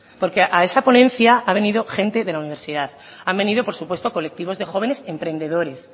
porque a esa ponencia ha venido gente de la universidad han venido por supuesto colectivos de jóvenes emprendedores